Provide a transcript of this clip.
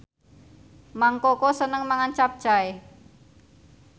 Mang Koko seneng mangan capcay